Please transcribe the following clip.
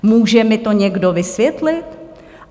Může mi to někdo vysvětlit?